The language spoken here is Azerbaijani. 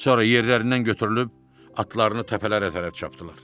Sonra yerlərindən götürülüb atlarını təpələrə tərəf çapdırdılar.